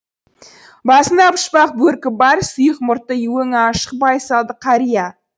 басында пұшпақ бөркі бар сұйық мұртты өңі ашық байсалды қария